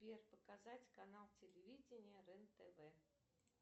сбер показать канал телевидения рен тв